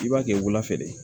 I b'a kɛ wulafɛ de ye